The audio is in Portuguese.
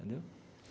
Entendeu?